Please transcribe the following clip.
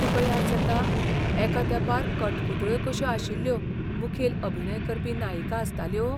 तुका याद जाता एका तेंपार कठपुतळ्यो कश्यो आशिल्ल्यो मुखेल अभिनय करपी नायिका आसताल्यो?